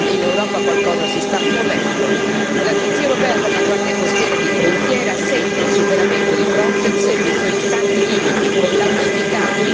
L'Agenzia europea per la Guardia Costiera e di frontiera segna il superamento di Frontex e dei suoi tanti limiti, con l'auspicato incremento di uomini e di mezzi.